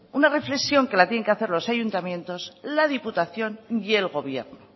una reflexión que la tienen que hacer los ayuntamientos la diputación y el gobierno